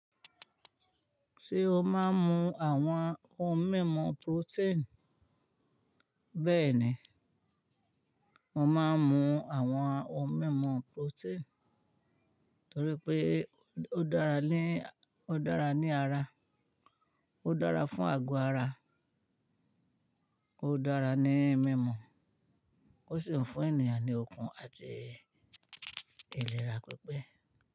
Ṣé o máa ń mu àwọn ohun mímu protein Bẹ́ẹ̀ni, mo máa ń mu àwọn ohun mímu protein torí pé ó dára ní, ó dára ní ara, ó dára fún ago ara, ó dára ní mímú, ó sì ń fún ènìyàn ní okun àti ìlera pípé.